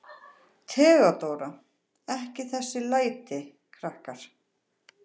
THEODÓRA: Ekki þessi læti, krakkar.